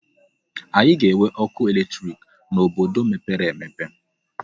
Anyị ga-enwe ọkụ eletrik n'obodo mepere emepe.